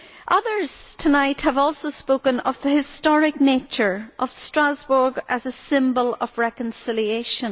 Others tonight have also spoken of the historic nature of Strasbourg as a symbol of reconciliation.